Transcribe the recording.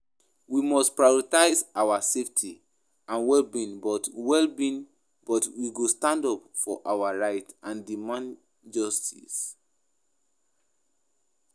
We must prioritize our safety and well-being but well-being but we go stand up for our rights and demand justice.